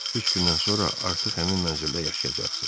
Üç gündən sonra artıq həmin mənzildə yaşayacaqsız.